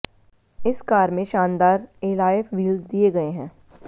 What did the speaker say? इस कार में शानदार एलॉय व्हील्स दिए गए हैं